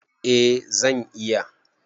Eh zan iya.